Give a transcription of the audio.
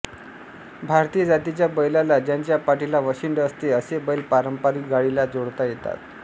भारतीय जातीच्या बैलाला ज्याच्या पाठीला वशिंड असते असे बैल पारंपारिक गाडीला जोडता येतात